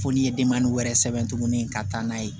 Fo n'i ye wɛrɛ sɛbɛn tuguni ka taa n'a ye